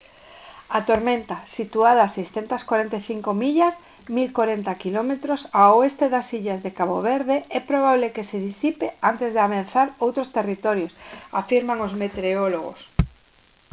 a tormenta situada a 645 millas 1040 km ao oeste das illas de cabo verde é probable que se disipe antes de ameazar outros territorios afirman os meteorólogos